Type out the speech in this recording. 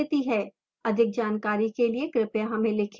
अधिक जानकारी के लिए कृपया हमें लिखें